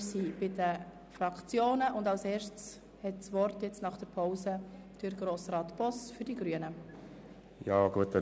Wir sind bei den Fraktionsvoten und jetzt hat Grossrat Boss für die Grünen das Wort.